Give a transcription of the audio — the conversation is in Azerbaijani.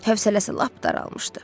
Hövsələsi lap daralmışdı.